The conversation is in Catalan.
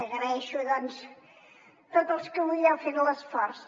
agraeixo doncs tots els que avui n’heu fet l’esforç